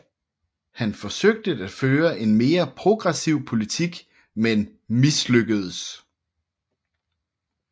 Han forsøgte at føre en mere progressiv politik men mislykkedes